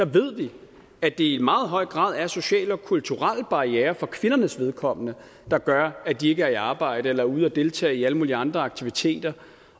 ved vi at det i meget høj grad er sociale og kulturelle barrierer for kvindernes vedkommende der gør at de ikke er i arbejde eller ude at deltage i alle mulige andre aktiviteter